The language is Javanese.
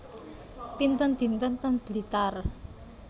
Pinten dinten ten Blitar